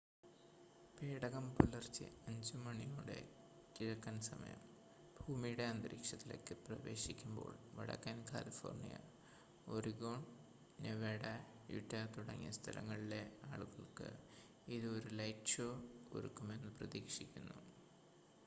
പേടകം പുലർച്ചെ 5 മണിയോടെ കിഴക്കൻ സമയം ഭൂമിയുടെ അന്തരീക്ഷത്തിലേക്ക് പ്രവേശിക്കുമ്പോൾ വടക്കൻ കാലിഫോർണിയ ഒറിഗോൺ നെവാഡ യൂറ്റ തുടങ്ങിയ സ്ഥലങ്ങളിലെ ആളുകൾക്ക് ഇത് ഒരു ലൈറ്റ് ഷോ ഒരുക്കുമെന്ന് പ്രതീക്ഷിക്കുന്നു